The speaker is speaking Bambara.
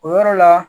O yɔrɔ la